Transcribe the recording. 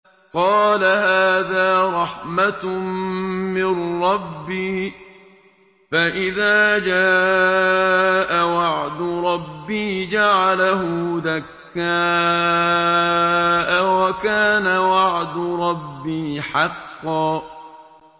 قَالَ هَٰذَا رَحْمَةٌ مِّن رَّبِّي ۖ فَإِذَا جَاءَ وَعْدُ رَبِّي جَعَلَهُ دَكَّاءَ ۖ وَكَانَ وَعْدُ رَبِّي حَقًّا